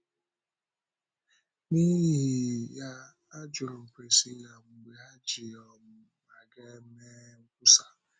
N’ihi ya, ajụrụ m Priscilla mgbe ha jì um aga eme nkwusa.